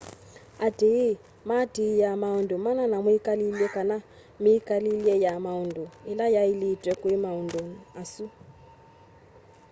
aatĩĩ maatĩaa maũndũ mana ma mwĩkalĩle kana mĩĩkile ya maũndũ ĩla yaĩlĩtwe kwĩ maũndũ asu